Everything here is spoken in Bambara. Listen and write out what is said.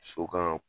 So kan